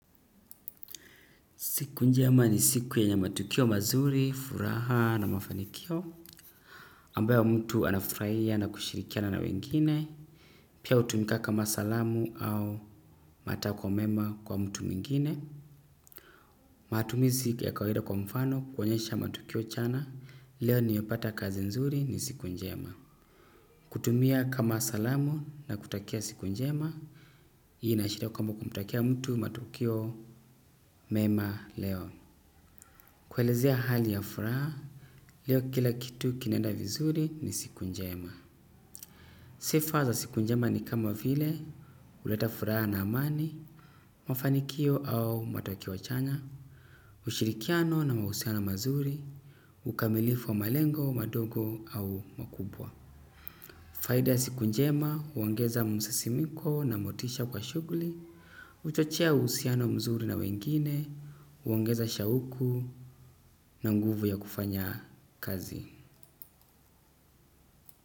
Siku njema ni siku yenye matukio mazuri furaha na mafanikio ambayo mtu anafurahia na kushirikiana na wengine pia hutumika kama salamu au matakwa mema kwa mtu mwingine matumizi ya kawaida kwa mfano kuonyesha matukio chana leo nimepata kazi nzuri ni siku njema. Kutumia kama salamu na kutakia siku njema. Hii inaashiria kwamba kumutakia mtu matukio mema leo kuelezea hali ya furaha leo kila kitu kinaenda vizuri ni siku njema sifa za siku njema ni kama vile huleta furaha na amani mafanikio au matokeo chanya ushirikiano na mahusiano mazuri ukamilifu wa malengo madogo au makubwa faida ya siku njema huongeza msisimiko na motisha kwa shughuli huchochea uhusiano mzuri na wengine huongeza shauku na nguvu ya kufanya kazi.